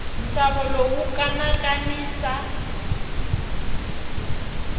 nxavo lowu wa kanakanisa